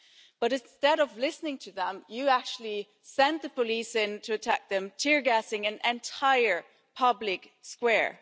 But, instead of listening to them, you actually sent the police in to attack them, tear gassing an entire public square.